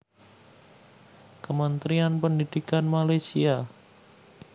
Kementerian Pendidikan Malaysia